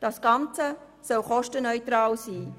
Das Ganze soll kostenneutral sein.